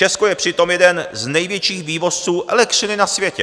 Česko je přitom jeden z největších vývozců elektřiny na světě.